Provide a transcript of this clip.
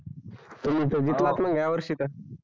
तुमी तर जितलात हया वर्षी तर हव